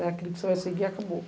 É aquilo que você vai seguir e acabou.